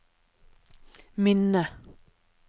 minne